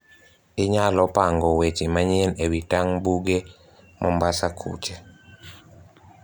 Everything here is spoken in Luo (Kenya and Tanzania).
Inyalo pango weche manyien ewi tang' buge mombasa kucho?